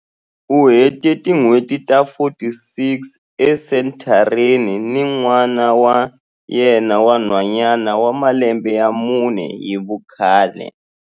U hete tin'hweti ta 46 esenthareni ni n'wana wa yena wa nhwanyana wa malembe ya mune hi vukhale.